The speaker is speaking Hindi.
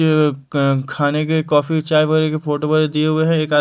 खाने के कॉफी चाय के फोटो व दिए हुए हैं।